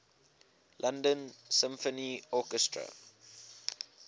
london symphony orchestra